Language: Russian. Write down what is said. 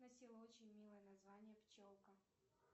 носила очень милое название пчелка